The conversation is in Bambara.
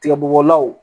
Tigabɔgɔlaw